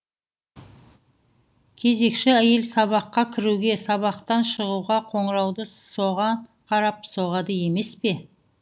кезекші әйел сабаққа кіруге сабақтан шығуға қоңырауды соған қарап соғады емес пе